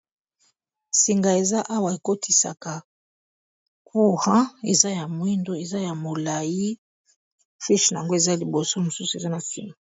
Singa eza awa ekotisaka courant eza ya mwindo eza ya molayi fiche na yango eza liboso mosusu eza na sima.